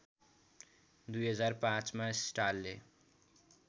२००५ मा स्टालले